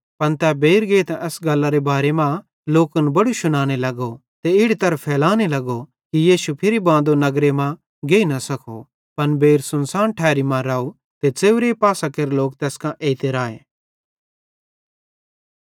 पन तै मैनू बेइर गेइतां एस गल्लारे बारे मां लोकन बड़ू शुनाने लगो ते इड़ी तगर फैलाने लगो कि यीशु फिरि बांदे नगरे मां न गेइ सको पन बेइर सुनसान ठैरन मां राव ते च़ेव्रे पासां केरे लोक तैस कां एइते राए